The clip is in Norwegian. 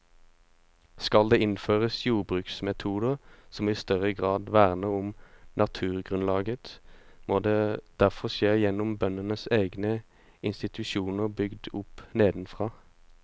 Skal det innføres jordbruksmetoder som i større grad verner om naturgrunnlaget, må det derfor skje gjennom bøndenes egne institusjoner bygd opp nedenfra.